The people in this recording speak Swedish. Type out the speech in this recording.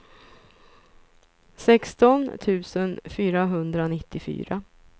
sexton tusen fyrahundranittiofyra